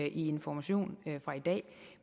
i information fra i dag